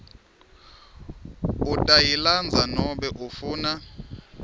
utayilandza nobe ufuna